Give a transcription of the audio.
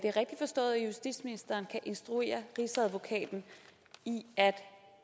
justitsministeren kan instruere rigsadvokaten i at